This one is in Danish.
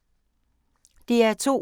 DR2